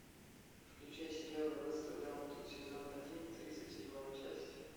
включай сериал аббатство даунтон сезон один тридцать седьмая часть